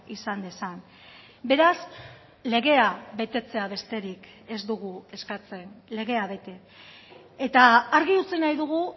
izan dezan beraz legea betetzea besterik ez dugu eskatzen legea bete eta argi utzi nahi dugu